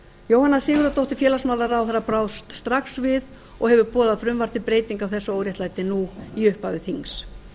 jóhanna sigurðardóttir félagsmálaráðherra brást strax við og hefur boðað frumvarp til breytinga á þessu óréttlæti nú í upphafi þings